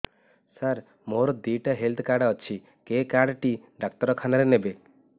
ସାର ମୋର ଦିଇଟା health card ଅଛି କେ କାର୍ଡ ଟି ଡାକ୍ତରଖାନା ରେ ନେବେ